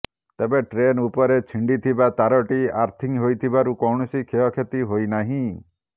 ତେବେ ଟ୍ରେନ ଉପରେ ଛିଣ୍ଡିଥିବା ତାରଟି ଆର୍ଥିଂ ହୋଇଥିବାରୁ କୌଣସି କ୍ଷୟକ୍ଷତି ହୋଇ ନାହିଁ